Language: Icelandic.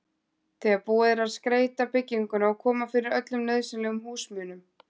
þegar búið er að skreyta bygginguna og koma fyrir öllum nauðsynlegum húsmunum.